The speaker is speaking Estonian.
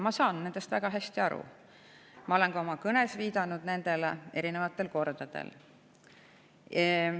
Ma saan nendest väga hästi aru ja olen ka oma kõnes nendele erinevatel kordadel viidanud.